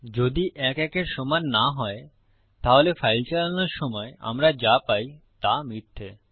যদি ১ ১ এর সমান না হয় তাহলে ফাইল চালানোর সময় আমরা যা পাই তা মিথ্যা